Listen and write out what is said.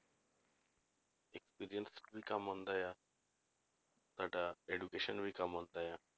Experience ਵੀ ਕੰਮ ਆਉਂਦਾ ਆ ਤੁਹਾਡਾ education ਵੀ ਕੰਮ ਆਉਂਦਾ ਆ,